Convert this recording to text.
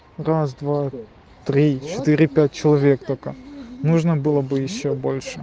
раз два три четыре пять человек только нужно было бы ещё больше